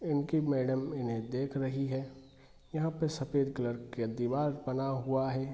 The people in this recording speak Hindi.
इनकी मैडम इन्हे देख रही है | यहाँ पे सफेद कलर का दिवाल बना हुआ है |